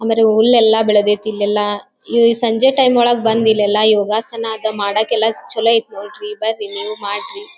ಅಂದರೆ ಹುಲ್ಲೆಲ್ಲಾ ಬೆಳೆದೆತೆ ಇಲ್ಲೆಲ್ಲಾ ಸಂಜಯ್ ಟೈಮ್ ಒಳಗೆ ಬಂದ್ ಇಲ್ಲೆಲ್ಲಾ ಯೋಗಾಸನ ಮಾಡಾಕ್ಕೆಲ್ಲ ಚಲೋ ಐತೆ ನೋಡ್ರಿ ಬನ್ರೀ ಮಾಡ್ರಿ.